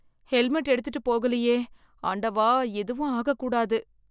Helmet எடுத்துட்டு போகலியே. ஆண்டவா எதுவும் ஆக கூடாது.